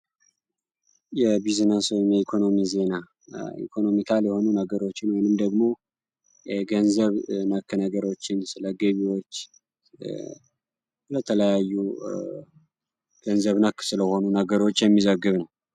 የቢዝነንስ ወይም ኢኮኖሚ ዜና ኢኮኖሚካል የሆኑ ነገሮችን ወይም ደግሞ ገንዘብ ነክ ነገሮችን ስለገቢዎች ለተለያዩ ገንዘብ ነክ ስለሆኑ ነገሮች የሚዘግብ ነው።